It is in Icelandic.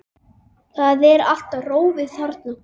Það er allt rófið þarna.